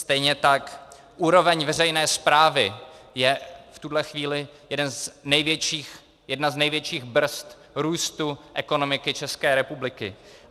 Stejně tak úroveň veřejné správy je v tuhle chvíli jedna z největších brzd růstu ekonomiky České republiky.